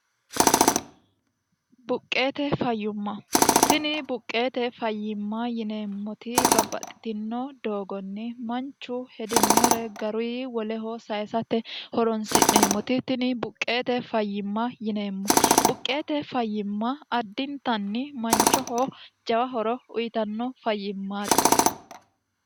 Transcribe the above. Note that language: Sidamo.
buqqeete fayyumma tini buqqeete fayyimma yineemmoti babbaxxitino doogonni manchu hedinore garui woleho sayisate horonsi'neemmoti tini buqqeete fayyimma yineemmo buqqeete fayyimma addintanni manchoho jawa horo uyitanno fayyimmaati